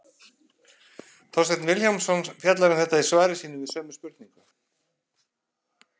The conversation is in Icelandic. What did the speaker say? Þorsteinn Vilhjálmsson fjallar um þetta í svari sínu við sömu spurningu.